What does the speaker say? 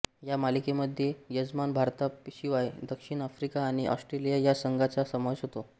ह्या मालिकेमध्ये यजमान भारताशिवाय दक्षिण आफ्रिका आणि ऑस्ट्रेलिया या संघांचा समावेश होता